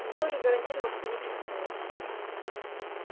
но я уже гарантировал тебе неприкосновенность